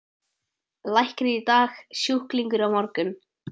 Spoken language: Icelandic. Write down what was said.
Læknir í dag, sjúklingur á morgun.